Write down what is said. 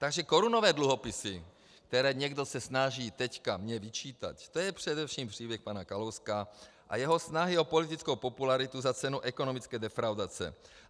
Takže korunové dluhopisy, které někdo se snaží teď mně vyčítat, to je především příběh pana Kalouska a jeho snahy o politickou popularitu za cenu ekonomické defraudace.